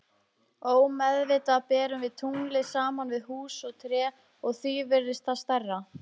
Ómeðvitað berum við tunglið saman við hús og tré og því virðist það stærra.